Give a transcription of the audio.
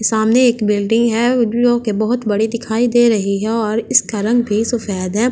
सामने एक बिल्डिंग है जो कि बहुत बड़ी दिखाई दे रही है और इसका रंग भी सफेद है।